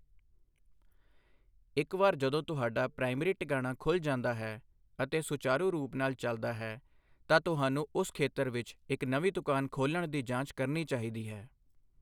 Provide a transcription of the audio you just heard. ਇੱਕ ਵਾਰ ਜਦੋਂ ਤੁਹਾਡਾ ਪ੍ਰਾਇਮਰੀ ਟਿਕਾਣਾ ਖੁੱਲ੍ਹ ਜਾਂਦਾ ਹੈ ਅਤੇ ਸੁਚਾਰੂ ਰੂਪ ਨਾਲ ਚਲਦਾ ਹੈ, ਤਾਂ ਤੁਹਾਨੂੰ ਉਸ ਖੇਤਰ ਵਿੱਚ ਇੱਕ ਨਵੀਂ ਦੁਕਾਨ ਖੋਲ੍ਹਣ ਦੀ ਜਾਂਚ ਕਰਨੀ ਚਾਹੀਦੀ ਹੈ।